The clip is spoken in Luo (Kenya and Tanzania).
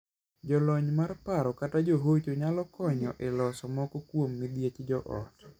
Jolony mar paro kata johocho nyalo konyo e loso moko kuom midhiech joot.